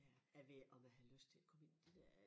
Ja jeg ved ikke om jeg har lyst til at komme ind det der